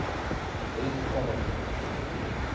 Rikka var uppnumin.